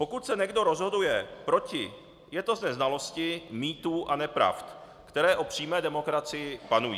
Pokud se někdo rozhoduje proti, je to ze znalosti mýtů a nepravd, které o přímé demokracii panují.